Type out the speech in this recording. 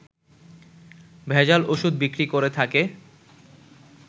ভেজাল ওষুধ বিক্রি করে থাকে